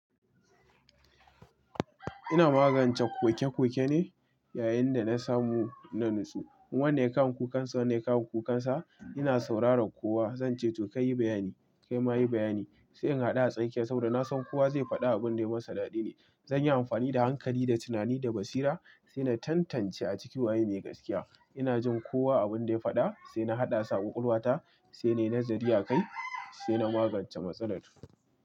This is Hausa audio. Ina magance koke koke ne yayin da na samu na nutsu. Wane ya kawon kukansa, wane ya kawon kukansa. Ina sauraron kowa, zance to kai yi bayani, kai ma yi bayani. Sai in haɗu a tsakiya saboda na san kowa zai faɗa abin da yayi masa daɗi ne. Zanyi amfani da hankali da tunani da basira sai na tantance a ciki waye mai gaskiya. Ina jin kowa abin da ya faɗa sai na haɗa su ƙwaƙwalwa ta, sai nayi nazari akai sai na magance matsalar.